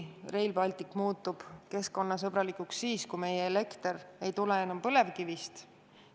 Rail Baltic muutub keskkonnasõbralikuks siis, kui meie elekter ei tule enam põlevkivist.